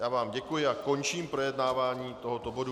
Já vám děkuji a končím projednávání tohoto bodu.